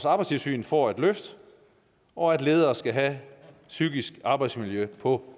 arbejdstilsynet får et løft og at ledere skal have psykisk arbejdsmiljø på